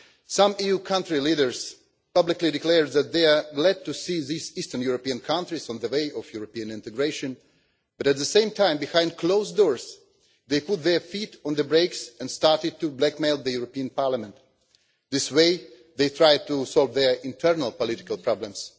Some EU country leaders publicly declared that they were glad to see these Eastern European countries on the way of European integration, but at the same time behind closed doors they put their feet on the brakes and started to blackmail the European Parliament. In this way they tried to solve their internal political problems.